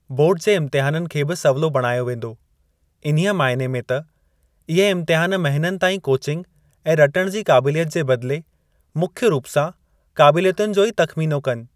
Board जे इम्तहाननि खे बि 'सवलो' बणायो वेंदो, इन्हीअ मायने में त इह इम्तिहान महिननि ताईं कोचिंग ऐं रटण जी काबिलियत जे बदिले मुख्य रूप सां काबिलियतुनि जो ई तख़मीनो कनि।